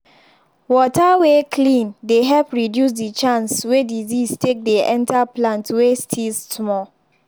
water way clean dey help reduce the chance way disease take dey enter plant way still small.